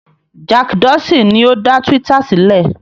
Jack Dorsey ni ó dá Twitter sílẹ̀.